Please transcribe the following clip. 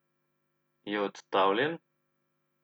Je odstavljen?